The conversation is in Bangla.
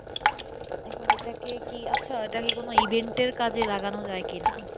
এখন ওটাকে Event এর কাজে জাগানো যাই কিনা।